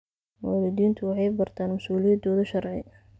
Waalidiintu waxay bartaan mas'uuliyadahooda sharci.